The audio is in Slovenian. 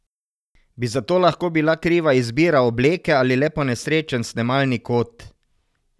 Bi za to lahko bila kriva izbira obleke ali le ponesrečen snemalni kot?